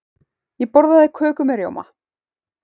Ég borða köku með rjóma.